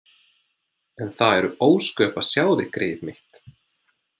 En það eru ósköp að sjá þig, greyið mitt.